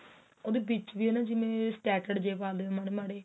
ਉਹਦੇ ਵਿੱਚ ਵੀ ਜਿਵੇਂ ਪਾਦੇ ਮਾੜੇ ਮਾੜੇ